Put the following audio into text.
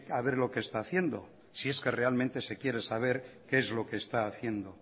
a ver lo que está haciendo si es que realmente se quiere saber qué es lo que se está haciendo